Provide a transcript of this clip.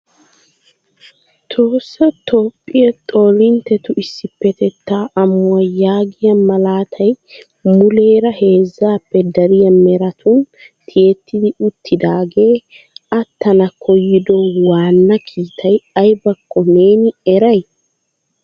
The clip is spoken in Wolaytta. Tohossa Toophiya Xoolinttetu issippetetta amuwaa yaagiya malaatay muleera heezzappe dariya meratun tiyettidi uttidaage aattana koyyido waana kiitay aybbako neeni eray?